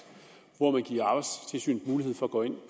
hvor man giver arbejdstilsynet mulighed for at gå ind